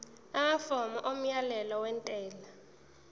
amafomu omyalelo wentela